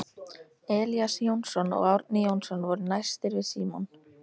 Elías Jónsson og Árni Jónsson voru næstir við Símon.